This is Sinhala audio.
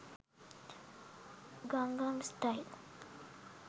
gangam style